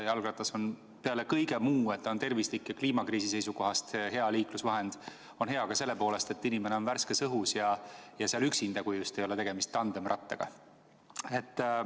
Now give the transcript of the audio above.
Jalgratas on peale selle, et ta on tervislik ja kliimakriisi seisukohast hea liiklusvahend, hea ka selle poolest, et inimene on värskes õhus ja üksinda, kui just ei ole tegemist tandemrattaga.